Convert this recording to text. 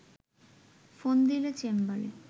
phone দিলে চেম্বারে